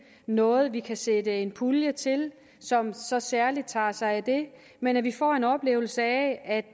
noget vi kan sætte en pulje af til som så særlig tager sig af det men at vi får en oplevelse af at